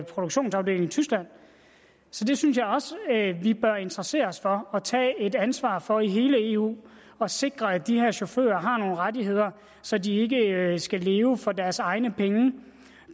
produktionsafdeling i tyskland så det synes jeg også vi bør interessere os for at tage et ansvar for i hele eu og sikre at de her chauffører har nogle rettigheder så de ikke skal leve for deres egne penge